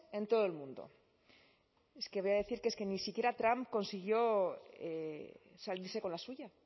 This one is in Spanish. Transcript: en todo el mundo es que voy a decir que es que ni siquiera trump consiguió salirse con la suya